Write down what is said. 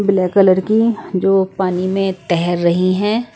Black colour की जो पानी में तैर रही हैं ।